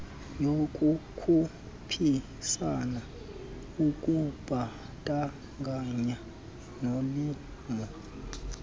yokukhuphisana ukubandakanya nolimo